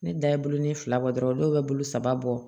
Ne da ye bulon ne fila bɔ dɔrɔn dɔw be saba bɔ